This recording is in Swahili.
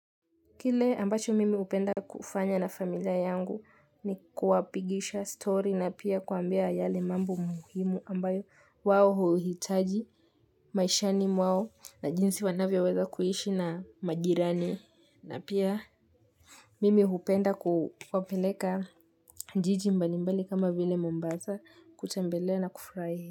Kile ambacho mimi hupenda kufanya na familia yangu ni kuwapigisha story na pia kuwaambia yale mambo muhimu ambayo wao huuhitaji maishani mwao na jinsi wanavyo weza kuhishi na majirani na pia mimi hupenda kuwapeleka jiji mbalimbali kama vile mombasa kutembelea na kufurahia.